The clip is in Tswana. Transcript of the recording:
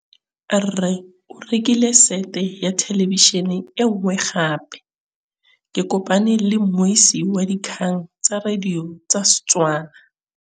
Rre o rekile sete ya thêlêbišênê e nngwe gape. Ke kopane mmuisi w dikgang tsa radio tsa Setswana.